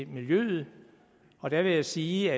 miljøet og der vil jeg sige